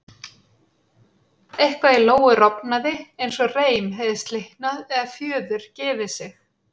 Eitthvað í Lóu rofnaði eins og reim hefði slitnað eða fjöður gefið sig.